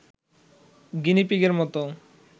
গিনিপিগের মতো